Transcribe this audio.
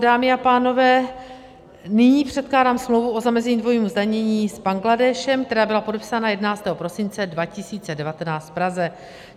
Dámy a pánové, nyní předkládám smlouvu o zamezení dvojímu zdanění s Bangladéšem, která byla podepsána 11. prosince 2019 v Praze.